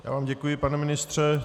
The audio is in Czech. Já vám děkuji, pane ministře.